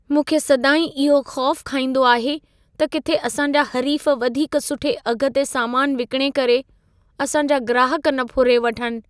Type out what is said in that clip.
मूंखे सदाईं इहो ख़ौफ़ु खाइंदो आहे त किथे असांजा हरीफ़ वधीक सुठे अघि ते सामान विकणे करे असां जा ग्राहक न फुरे वठनि।